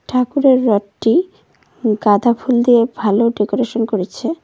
ঠাকুরের রটটি উ গাঁদা ফুল দিয়ে ভালো ডেকোরেশন করেছে।